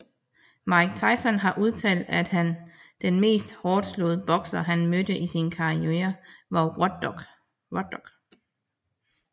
Mike Tyson har udtalt at han var den mest hårdtslående bokser han mødte i sin karriere var Ruddock